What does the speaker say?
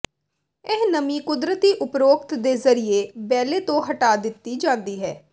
ਇਹ ਨਮੀ ਕੁਦਰਤੀ ਉਪਰੋਕਤ ਦੇ ਜ਼ਰੀਏ ਬੈਲੇ ਤੋਂ ਹਟਾ ਦਿੱਤੀ ਜਾਂਦੀ ਹੈ